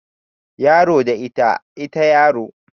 Yaro da ita, ita yaro